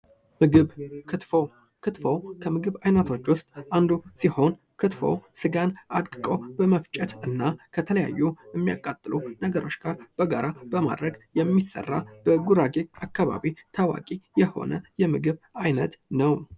ምግብ ክትፎ ክትፎ ከምግብ አይነቶች ውስጥ አንዱ ሲሆን ክትፎ ስጋን አድቁ በመፍጨትና እና የተለያዩ የሚያቃጥሉ ነገሮች በጋር አንድ ላይ አድርጎ በመፍጨት የሚሰራ የምግብ ዓይነት ነው።